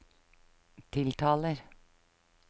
tiltaler